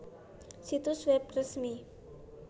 Situs web resmi